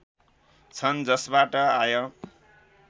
छन् जसबाट आय